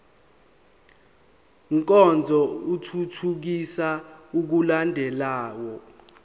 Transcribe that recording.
nkonzo ithuthukisa ukulandelwa